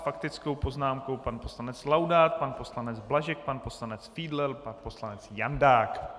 S faktickou poznámkou pan poslanec Laudát, pan poslanec Blažek, pan poslanec Fiedler, pan poslanec Jandák.